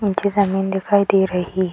निचे जमीन दिखाई दे रही --